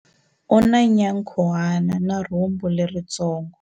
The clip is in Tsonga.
U na nyankhuhana na rhumbu leritsongo.